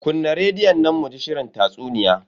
Kunna rediyon nan mu ji shirin tatsuniya.